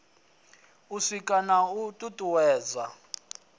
u sika na u tutuwedza